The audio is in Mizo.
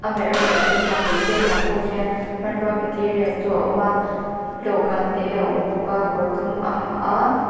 amah ereawh chu a bul velah pawh hian hmanrua material chu a awm a dawhkan tê a awm bawk a kawr dum a ha a.